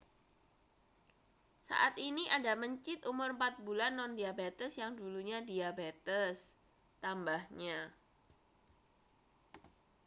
saat ini ada mencit umur 4 bulan nondiabetes yang dulunya diabetes tambahnya